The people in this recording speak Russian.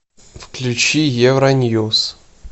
включи евроньюс